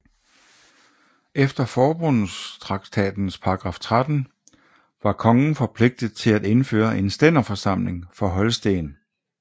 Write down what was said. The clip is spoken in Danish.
Efter forbundstraktatens paragraf 13 var kongen forpligtet til at indføre en stænderforsamling for Holsten